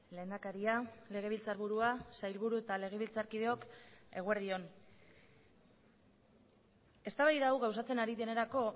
lehendakaria legebiltzarburua sailburu eta legebiltzarkideok eguerdi on eztabaida hau gauzatzen ari denerako